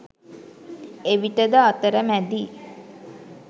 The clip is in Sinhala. එවිටද අතරමැදි